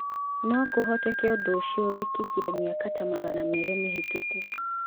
No kũhoteke ũndũ ũcio wekĩkire mĩaka ta magana merĩ mĩhĩtũku.